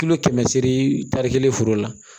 Kilo kɛmɛ seeri tari kelen foro la